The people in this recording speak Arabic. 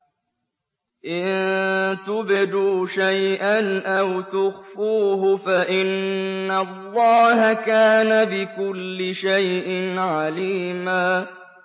إِن تُبْدُوا شَيْئًا أَوْ تُخْفُوهُ فَإِنَّ اللَّهَ كَانَ بِكُلِّ شَيْءٍ عَلِيمًا